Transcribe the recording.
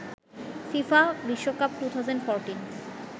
FIFA বিশ্বকাপ 2014